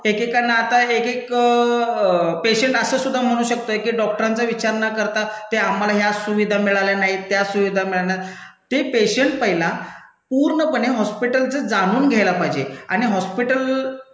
एकेकांना आता एकएक पेशंट असं सुद्धा म्हणू शकतोय की डॉक्टरांचा विचार न करता ते आम्हाला या सुविधा मिळाल्या नाहीत त्या सुविधा मिळाल्या नाहीत. ते पेशंट पहिला पूर्णपणे हॉस्पिटलचं जाणून घ्यायला पाहिजे आणि हॉस्पिटल,